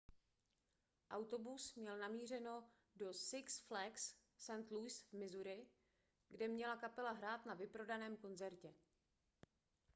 autobus měl namířeno do six flags st louis v missouri kde měla kapela hrát na vyprodaném koncertě